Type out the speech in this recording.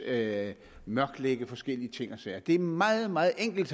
at mørklægge forskellige ting og sager det er meget meget enkelt